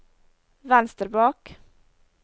venstre bak